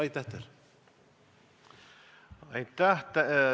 Aitäh!